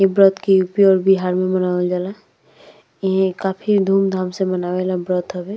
इ ब्रत के यू_पी और बिहार में मनावल जाला। इ काफी धूम धाम से मनावे वाला ब्रत हवे।